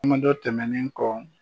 Kuma dɔ tɛmɛnen kɔ.